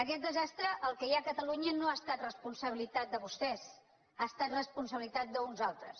aquest desastre el que hi ha a catalunya no ha estat responsabilitat de vostès ha es·tat responsabilitat d’uns altres